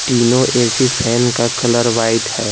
तीनों AC fan का colour white है।